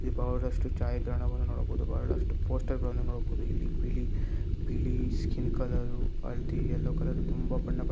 ಈ ಬಹಳಷ್ಟು ಛಾಯಗ್ರಹಣವನ್ನು ನೋಡಬಹುದು ಬಹಳಷ್ಟು ಪೋಸ್ಟರ್‌ ಗಳನ್ನು ನೋಡಬಹುದು ಇಲ್ಲಿ ಬಿಳಿ ಸ್ಕಿನ್‌ ಕಲರ್‌ ಹಳದಿ ಯಲ್ಲೋ ಕಲರ್ ತುಂಬಾ ಬಣ್ಣ--